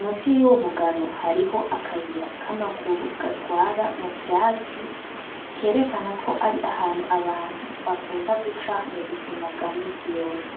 musi y'umugano hariho akayira k'amaguru gatwara mu vyatsi kerekana ko ari ahanu abantu bakunda guca mu buzima bwa misi yose.